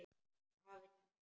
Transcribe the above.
Afi, sagði hún.